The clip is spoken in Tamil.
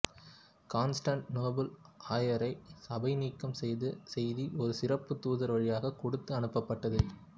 காண்ஸ்டாண்டிநோபுள் ஆயரை சபைநீக்கம் செய்த செய்தி ஒரு சிறப்புத் தூதர் வழியாகக் கொடுத்து அனுப்பப்பட்டது